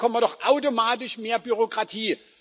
Dann bekommen wir doch automatisch mehr Bürokratie.